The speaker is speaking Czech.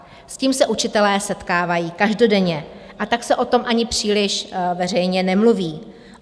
S tím se učitelé setkávají každodenně, a tak se o tom ani příliš veřejně nemluví.